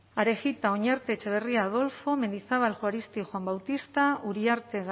arejita oñarte etxebarria adolfo mendizabal juaristi juan bautista uriarte